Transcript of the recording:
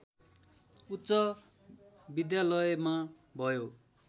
उच्च विद्यालयमा भयो